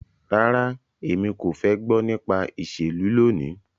Rara, Emi ko fẹ gbọ nipa iṣelu loni